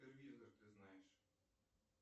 ты знаешь